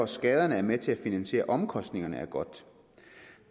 skaderne er med til at finansiere omkostningerne er godt